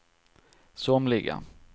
somliga